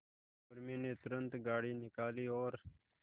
उर्मी ने तुरंत गाड़ी निकाली और